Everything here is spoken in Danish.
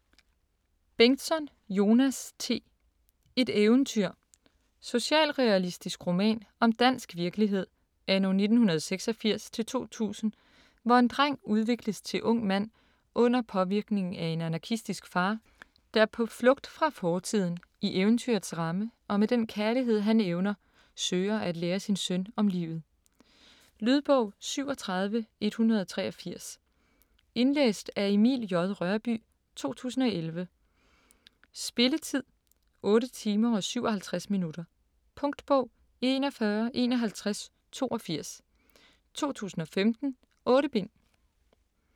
Bengtsson, Jonas T.: Et eventyr Socialrealistisk roman om dansk virkelighed anno 1986-2000, hvor en dreng udvikles til ung mand under påvirkning af en anarkistisk far, der på flugt fra fortiden, i eventyrets ramme, og med den kærlighed han evner, søger at lære sin søn om livet. Lydbog 37183 Indlæst af Emil J. Rørbye, 2011. Spilletid: 8 timer, 57 minutter. Punktbog 415182 2015. 8 bind.